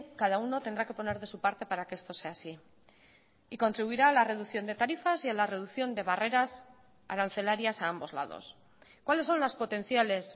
cada uno tendrá que poner de su parte para que esto sea así y contribuirá a la reducción de tarifas y a la reducción de barreras arancelarias a ambos lados cuáles son las potenciales